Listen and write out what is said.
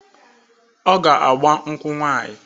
Ọ ga-agba mkwụ nwanyị.